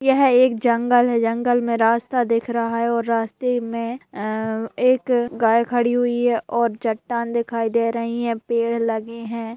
यह एक जंगल है जंगल में रास्ता दिख रहा है और रास्ते में एक गाय खड़ी हुयी है और चट्टान दिखाई दे रही है| पेड़ लगे है ।